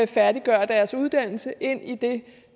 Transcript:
færdiggøre deres uddannelse ind i det